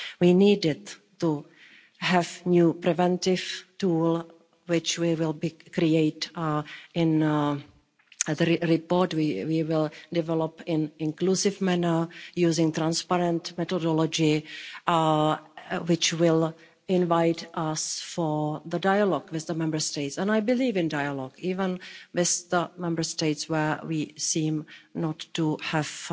We needed to have a new preventive tool which we will create in the report, we will develop it in an inclusive manner, using transparent methodology which will invite us for the dialogue with the Member States, and I believe in dialogue, even with the Member States where we seem not to have